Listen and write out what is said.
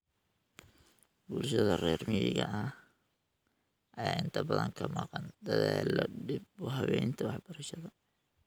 Bulshada reer miyiga ah ayaa inta badan ka maqan dadaallada dib u habeynta waxbarashada.